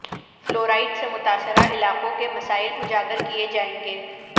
fluoride سے متاثرہ علاقوں کے مسائل اجاگر کئے جائیں گے